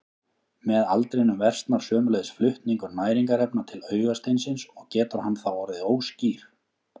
Með aldrinum versnar sömuleiðis flutningur næringarefna til augasteinsins og getur hann þá orðið óskýr.